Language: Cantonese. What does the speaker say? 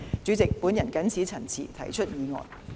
主席，我謹此陳辭，提出議案。